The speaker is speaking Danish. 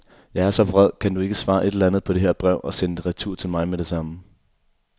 Jeg er så vred, kan du ikke svare et eller andet på det her brev og sende det retur til mig med det samme.